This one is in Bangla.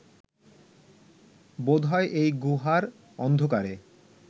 বোধ হয় এই গুহার অন্ধকারে